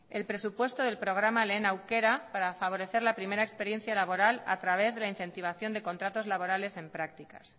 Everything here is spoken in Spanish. el presupuesto del programa lehen aukera para favorecer la primera experiencia laboral a través de la incentivación de contratos laborales en prácticas